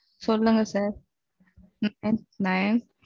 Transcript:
சொல்லுங்க sir nine